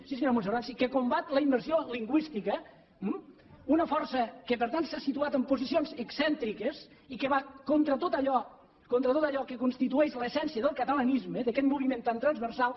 sí senyora montserrat sí que combat la immersió lingüística una força que per tant s’ha situat en posicions excèntriques i que va contra tot allò contra tot allò que constitueix l’essència del catalanisme d’aquest moviment tan transversal